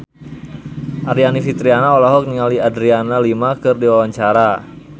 Aryani Fitriana olohok ningali Adriana Lima keur diwawancara